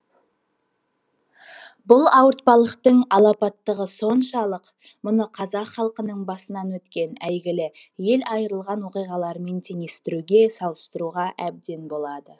бұл ауыртпалықтың алапаттығы соншалық мұны қазақ халқының басынан өткен әйгілі ел айырылған оқиғаларымен теңестіруге салыстыруға әбден болады